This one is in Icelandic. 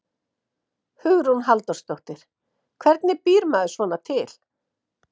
Hugrún Halldórsdóttir: Hvernig býr maður svona til?